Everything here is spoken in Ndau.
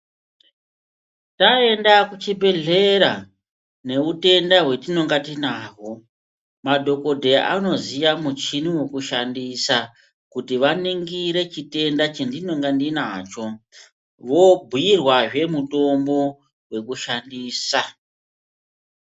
Taenda kuchibhehlera nehutenda hwatinenge tinahwo madhokodheya anoziya muchini wekushandisa kuti vaningire chitenda chandinonga ndinacho vobhuirwazve mutombo wekushandisa .